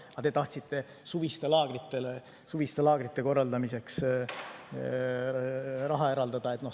Aga te tahtsite suviste laagrite korraldamiseks raha eraldada.